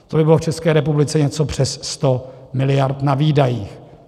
To by bylo v České republice něco přes 100 miliard na výdajích.